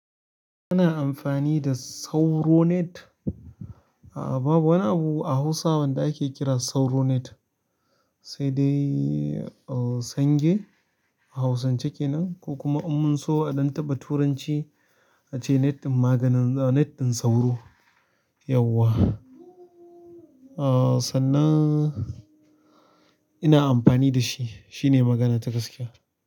Ana amfani da sauro net. A'a babu wani abu a Hausa wanda ake kira sauro net. Sai dai sange a hausance kenan ko kuma un munso a ɗan taɓa turanci ace net ɗin maganin sauro. Yauwa. Sannan ina amfani da shi. Shi ne magana ta gaskiya.